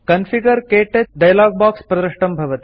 configure - क्तौच dialog box प्रदृष्टं भवति